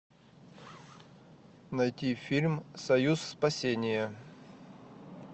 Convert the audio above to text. найти фильм союз спасения